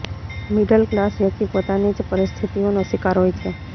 middle class વ્યક્તિ પોતાની જ પરિસ્થિતિઓનો શિકાર હોય છે